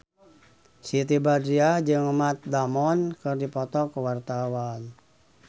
Siti Badriah jeung Matt Damon keur dipoto ku wartawan